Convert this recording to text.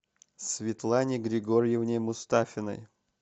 светлане григорьевне мустафиной